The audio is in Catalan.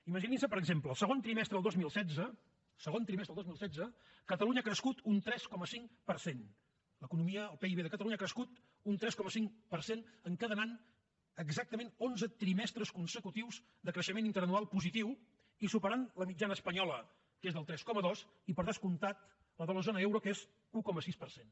imaginin se per exemple el segon trimestre del dos mil setze segon trimestre del dos mil setze catalunya ha crescut un tres coma cinc per cent l’economia el pib de catalunya ha crescut un tres coma cinc per cent i encadena exactament onze trimestres consecutius de creixement interanual positiu i supera la mitjana espanyola que és del tres coma dos i per descomptat la de la zona euro que és un coma sis per cent